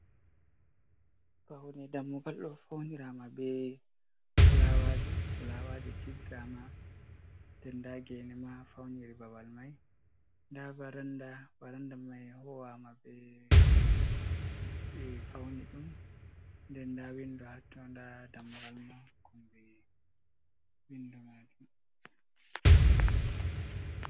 Faune dammugal do faunirama be fulaawaji, fulaawaji tiggama nder nɗa gene ma fauniri babal mai nda varanda mai huwama be fauni ɗum nden nda windo hatto nda dammugal ma ha kombi winduo majum.